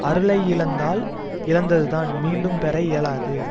அருளை இழந்தால் இழந்தது தான் மீண்டும் பெற இயலாது